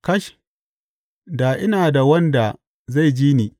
Kash, da ina da wanda zai ji ni!